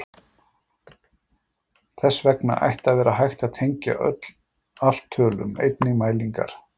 Þess vegna ætti að vera hægt að tengja allt tölum, einnig mælingar.